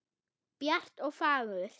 Bjart og fagurt.